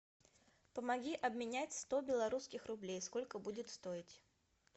помоги обменять сто белорусских рублей сколько будет стоить